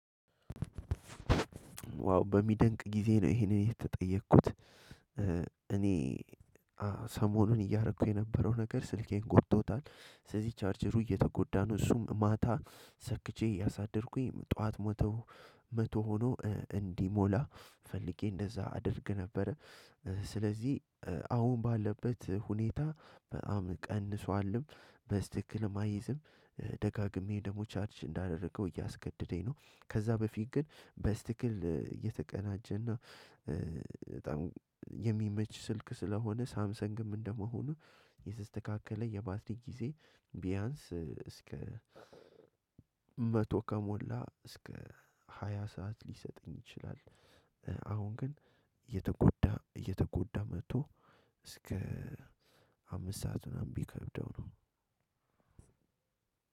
ዋው በሚደንቅ ጊዜ ነው። ይሄንን የተጠየኩት እኔ ሰሞኑን እያደረኩ የነበረው ነገር ስልኬን ጎድቶታል። ስለዚህ ቻርጀሩ እየተጎዳ ነው እሱም ማታ ሰክቼ ያሳደርኩኝ ጠዋት መቶ መቶ ሆኖ እንዲሞላ ፈልጌ እንደዛ አድርግ ነበረ። ስለዚህ አሁን ባለበት ሁኔታ በጣም ቀንሷልም በስተክልም አይዝም ደጋግሜ ደግሞ ቻርጅ እንዳደረገው እያስገደደኝ ነው። ከዛ በፊት ግን በስተክክል እየተቀናጀና በጣም የሚመች ስልክ ስለሆነ ሳምሰንግም እንደመሆኑ የስተካከለ የባትሪ ጊዜ ቢያንስ እስከ መቶ ከሞላ እስከ ሃያ ሰዓት ሊሰጥኝ ይችላል። አሁን ግን እየተጎዳ እየተጎዳ መጥቶ እስከ አምስት ሰዓት ምናምን ቢከብደው ነው።